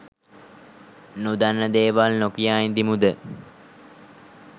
නොදන්න දේවල් නොකියා ඉඳිමුද?